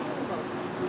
Qoy hamısını qoy.